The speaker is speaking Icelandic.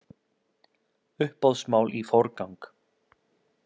Uppboðsmál í forgang